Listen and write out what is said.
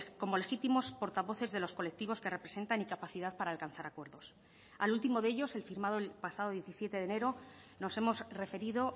como legítimos portavoces de los colectivos que representan incapacidad para alcanzar acuerdos al último de ellos el firmado el pasado diecisiete de enero nos hemos referido